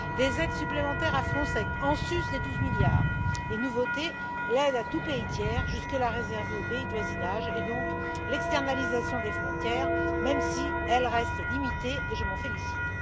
des aides supplémentaires à Frontex, en sus des 12 milliards et, nouveauté, l'aide à tout pays tiers, jusque là réservée aux pays du voisinage, et donc l'externalisation des frontières, même si elle reste limitée, et je m'en félicite.